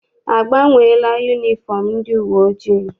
A gbanweela yunifọm ndị uwe ojii?